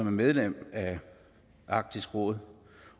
er medlem af arktisk råd